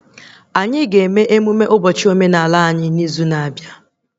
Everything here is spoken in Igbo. Anyị ga-eme emụme ụbọchị omenaala anyị n'izu na-abịa